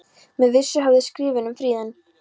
Með vissu höfðu skrifin um friðun